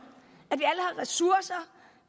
at ressourcer